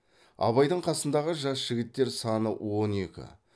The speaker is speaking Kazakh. абайдың қасындағы жас жігіттер саны он екі